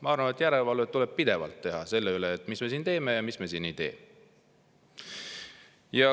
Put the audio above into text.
Ma arvan, et järelevalvet tuleb pidevalt teha selle üle, mis me siin teeme ja mis me siin ei tee.